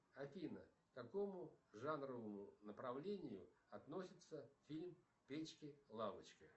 афина к какому жанру направлению относится фильм печки лавочки